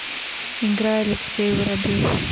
играй алексей воробьев